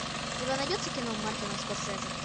у тебя найдется кино мартина скорсезе